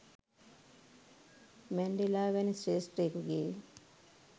Mandela වැනි ශ්‍රේෂ්ඨයෙකුගේ